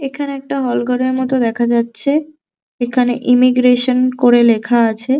এখানে একটা হল ঘরের মতো দেখা যাচ্ছে এখানে ইমিগ্রেশন করে লেখা আছে।